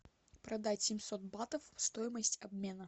продать семьсот батов стоимость обмена